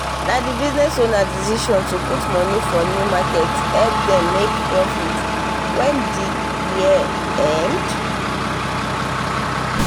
na the business owner decision to put money for new market help them make profit wen the year end?